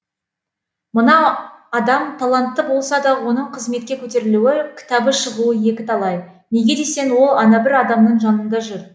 мынау адам талантты болса да оның қызметке көтерілуі кітабы шығуы екіталай неге десең ол анабір адамның жанында жүр